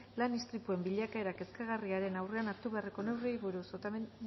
lan istripuen bilakaera kezkagarriaren aurrean hartu beharreko neurriei buruz otamendi